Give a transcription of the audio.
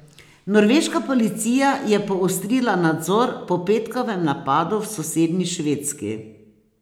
Norveška policija je poostrila nadzor po petkovem napadu v sosednji Švedski.